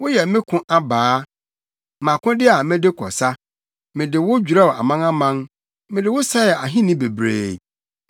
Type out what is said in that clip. “Woyɛ me ko abaa, mʼakode a mede kɔ sa mede wo dwerɛw amanaman, mede wo sɛe ahenni bebree,